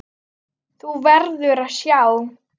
Þú verður að sjá!